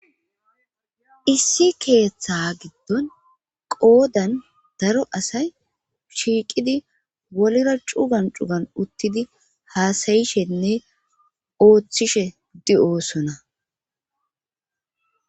Issi keeththa giddon qoodan daro asay shiiqidi wolira cugan cugan uttidi haasayishenne ooththishe di7oosona